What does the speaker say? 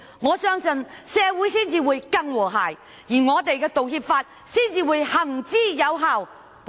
我相信這會令社會更和諧，並且《道歉條例》得以有效實施。